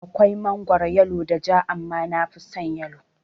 Akwai mangoro yalo da ja, amma nafison yalon